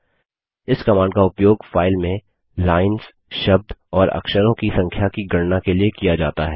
इस कमांड का उपयोग फाइल में लाइन्स शब्द और अक्षरों की संख्या की गणना के लिए किया जाता है